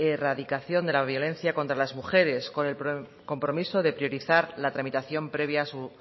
erradicación de la violencia contra las mujeres con el compromiso de priorizar la tramitación previa a su